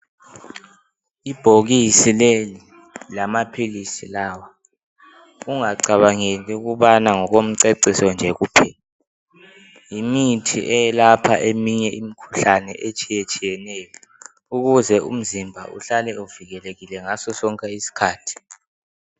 Ibhokisi leli lamaphilisi lawa, ungacabangeli ukubana ngokomceciso nje kuphela yimithi eyelapha eminye imikhuhlane etshiyetshiyeneyo ukuthi umzimba uhlale uvikelekile ngaso sonke isikhathi.